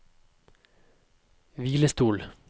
hvilestol